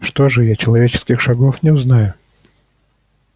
что же я человеческих шагов не узнаю